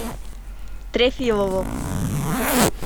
трефилову